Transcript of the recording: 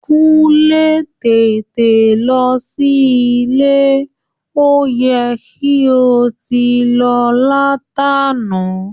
Kúnlé, tètè lọ sí ilé, ó yẹ kí o ti lọ látàná!